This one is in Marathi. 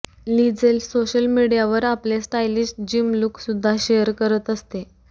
लिजेल सोशल मीडियावर आपले स्टायलिश जिम लुक सुद्धा शेअर करत असते